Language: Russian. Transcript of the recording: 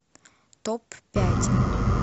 топ пять